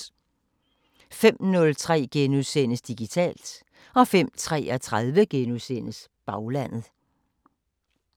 05:03: Digitalt * 05:33: Baglandet *